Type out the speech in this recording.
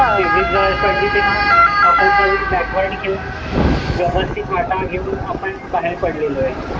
दरड पडली तेव्हा व्यवस्थित वाटा घेऊन आपण बाहेर पडलेलो आहे.